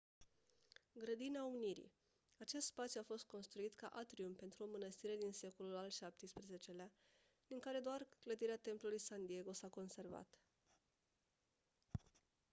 grădina unirii acest spațiu a fost construit ca atrium pentru o mănăstire din secolul al xvii-lea din care doar clădirea templului san diego s-a conservat